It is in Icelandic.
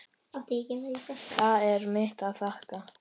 Það er mitt að þakka.